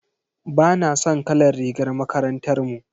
Bana son kalar rigar makarantar mu.